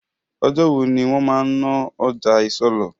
Ọjọ́ wo ni wọn máa ń ná ọjà isọlọ̀?